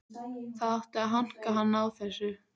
Það átti að hanka hann á þessu.